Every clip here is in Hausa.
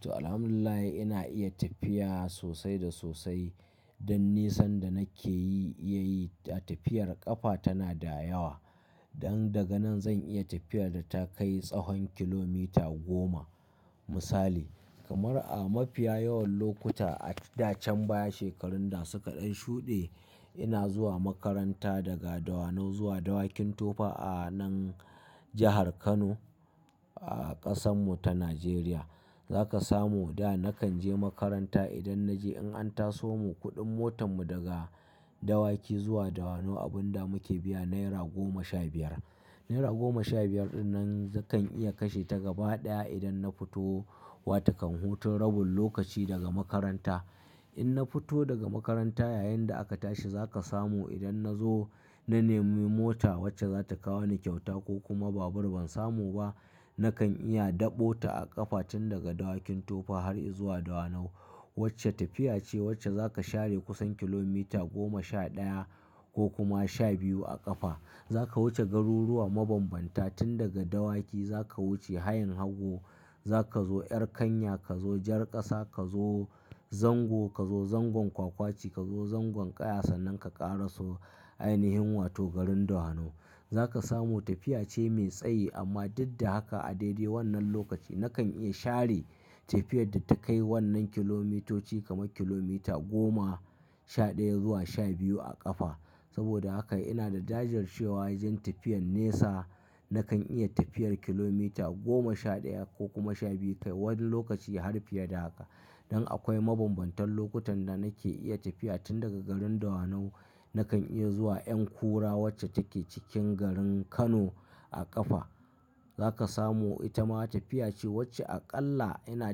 To, Alhamdulillahi ina iya tafiya sosai da sosai. Don nisan da nake yi iya yi ta tafiyar ƙafa tana da yawa. Don daga nan zan iya tafiyar da ta kai tsahon kilomita goma. Misali, kamar a mafiya yawan lokuta adda can baya shekarun da suka dan shude, ina zuwa makaranta daga Dawanau zuwa Dawakin Tofa a nan jahar Kano a ƙasan mu ta Najeriya. Za ka samu da na kan je makaranta idan na je in an taso mu kuɗin motan mu daga Dawaki zuwa Dawanau abin da muke biya naira goma sha biyar. Naira goma sha biyar dinnan zakan iya kashe ta gaba ɗaya idan na fito wa ta kan huta rabin lokaci daga makaranta. In na fito daga makaranta yayinda aka tashi za ka samu idan na zo na nemi mota wacce za ta kawo ni kyauta ko kuma babur ban samu ba, na kan iya daɓo ta a ƙafa tun daga Dawakin Tofa har izuwa Dawanau. Wacce tafiya ce wacce za ka share kusan kilomita goma sha ɗaya ko kuma sha biyu a ƙafa. Za ka wuce garuruwa mabanbanta tun daga Dawaki za ka wuce hayin hagu, za ka zo ƴar kanya, ka zo jar ƙasa, ka zo zango, ka zo zangon kwakwaci, ka zo zangon ƙaya sannan ka ƙaraso ainihin wato garin Dawanau. Za ka samu tafiya ce mai tsayi amma duk da haka a daidai wannan lokaci na kan iya share tafiyar da ta kai wannan kilomitoci kamar kilomita goma sha ɗaya zuwa sha biyu a ƙafa. Saboda haka ina da jajir cewa wajen tafiyan nesa na kan iya tafiyar kilomita goma sha ɗaya ko kuma sha biyu kai wani lokaci har fiye da haka. Don akwai mabanbantan lokutan da nake iya tafiya tun daga garin Dawanau na kan iya zuwa ƴan kura wacce take cikin garin Kano a ƙafa. Za ka samu ita ma tafiya ce wacce aƙalla ina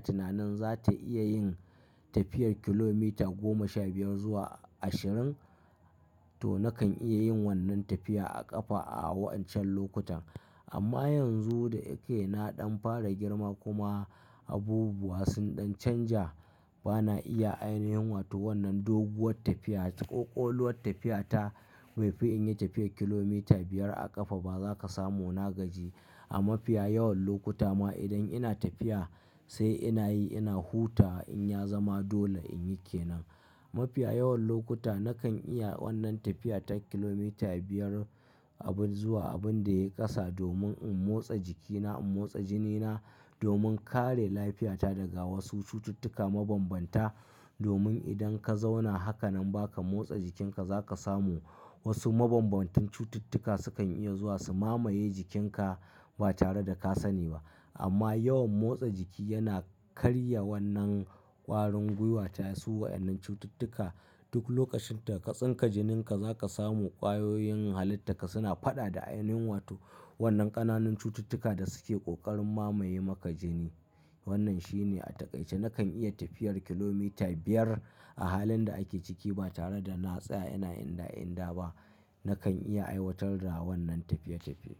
tunanin za ta iya yin tafiyar kilomita goma sha biyar zuwa ashirin. To, na kan iya yin wannan tafiya a ƙafa a wa'incan lokutan. Amma yanzu da ya ke naɗin fara girma kuma abubuwa sunɗen canja, ba na iya ainihin wato wannan doguwar tafiya ko ƙoƙoluwar tafiya ta. Bai fi in yi tafiyar kilomita biyar a ƙafa ba za ka samu na gaji. A mafiya yawan lokuta ma idan ina tafiya sai ina yi ina hutawa in ya zama dole in yi ke nan. Mafiya yawan lokuta na kan iya wannan tafiya ta kilomita biyar abun zuwa abun da ya ƙasa domin in motsa jikina, in motsa jinina, domin kare lafiyata daga wasu cututtuka mabanbanta. Domin idan ka zauna haka nan ba ka motsa jikinka za ka samu wasu ma banbantan cututtuka su kan iya zuwa su mamaye jikinka ba tare da ka sani ba. Amma yawan motsa jiki yana karya wannan ƙwarin gwiwata su wa'annan cututtuka. Duk lokacin da ka tsinka jininka za ka samu ƙwayoyin halitta ka suna faɗa da ainihin wato wannan ƙananan cututtuka da suke ƙoƙarin mamaye maka jini. Wannan shi ne a taƙaice na kan iya tafiyar kilomita biyar a halin da ake ciki ba tare da na tsaya ina inda inda ba. Na kan iya aiwatar da wannan tafiye tafiye.